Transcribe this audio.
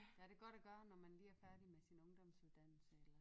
Ja det godt at gøre når man lige er færdig med sin ungdomsuddannelse eller